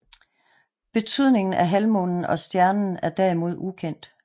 Betydningen af halvmånen og stjernen er derimod ukendt